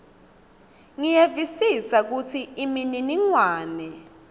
ngiyevisisa kutsi imininingwane